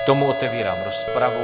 K tomu otevírám rozpravu.